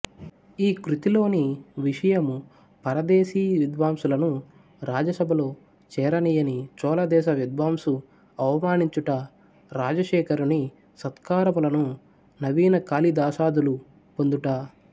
ఈకృతిలోని విషయము పరదేశీ విద్వాంసులను రాజసభలో చేరనీయని చోళ దేశ విద్వాంసు అవమానించుట రాజశేఖరుని సత్కారములను నవీన కాళిదాసాదులు పొందుట